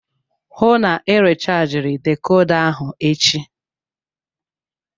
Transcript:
Hụụ na Ị rechajiri dekoda ahụ echi!